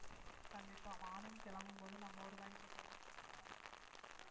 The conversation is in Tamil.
கண்டிப்பா morning கிளம்பும் போது நம்ம ஒரு mind set ல தான் கிளம்புவோம்